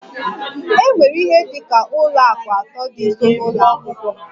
E nwere ihe dị ka ụlọ akụ atọ dị nso n'ụlọ akwụkwọ m